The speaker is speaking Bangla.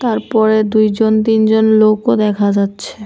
তারপরে দুইজন তিনজন লোকও দেখা যাচ্ছে।